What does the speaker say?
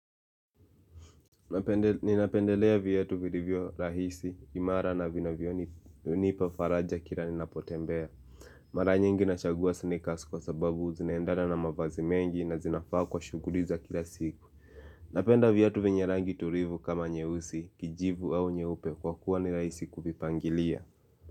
Ninapendelea viatu vilivyo rahisi, imara na vinavyonipa faraja kila ninapotembea Mara nyingi nachagua sneakers kwa sababu zinaendana na mavazi mengi na zinafaa kwa shughuli za kila siku Napenda viatu venye rangi tulivu kama nyeusi, kijivu au nyeupe kwa kuwa ni rahisi kuvipangilia.